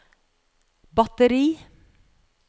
batteri